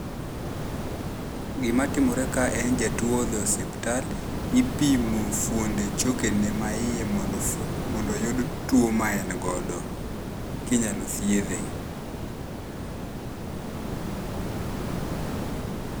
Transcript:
Gima timore kae en ni jatuo odhi e osiptal, ipimo fuonde chokene maiye mondo fuo mondo oyud tuo ma en godo, kinyalo thiedhe.